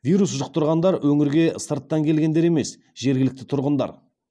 вирус жұқтырғандар өңірге сырттан келгендер емес жергілікті тұрғындар